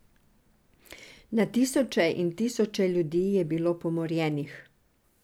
Na tisoče in tisoče ljudi je bilo pomorjenih.